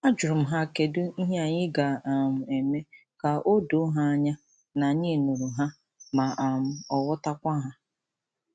A jurum ha kedi ihe a ga- um eme ka odoo ha anya na anyi nuru ha ma um ghotakwa ha.